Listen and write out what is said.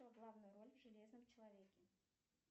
кто в главной роли в железном человеке